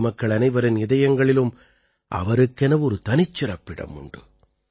நாட்டுமக்கள் அனைவரின் இதயங்களிலும் அவருக்கென ஒரு தனிச்சிறப்பிடம் உண்டு